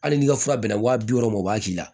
Hali n'i ka fura bɛnna wa bi wɔɔrɔ o b'a k'i la